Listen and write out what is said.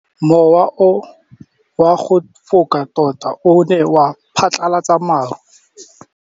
Mowa o wa go foka tota o ne wa phatlalatsa maru.